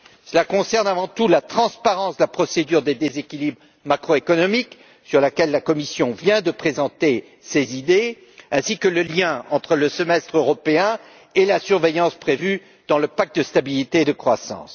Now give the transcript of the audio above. Cela concerne avant tout la transparence de la procédure des déséquilibres macroéconomiques, sur laquelle la Commission vient de présenter ses idées, ainsi que le lien entre le Semestre européen et la surveillance prévue dans le pacte de stabilité et de croissance.